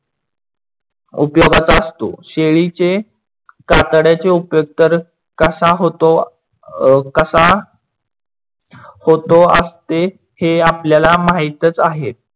उपयोगात असतो. शेळी चे कातडयाचे उपयोग तर कसा होतो असते हे आपल्याला माहीतच आहे.